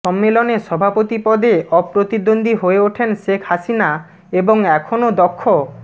সম্মেলনে সভাপতি পদে অপ্রতিদ্বন্দ্বী হয়ে ওঠেন শেখ হাসিনা এবং এখনও দক্ষ